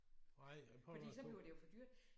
Nej jeg prøver også på